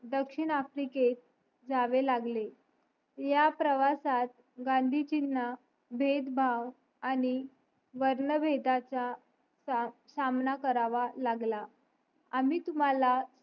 दक्षिण आफ्रिकेत जावे लागले ह्या प्रवासात गांधीजींना भेदभाव आणि वर्णभेदाचा सामना करावा लागला आम्ही तुम्हाला